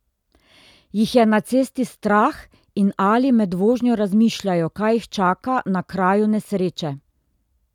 Jih je na cesti strah in ali med vožnjo razmišljajo, kaj jih čaka na kraju nesreče?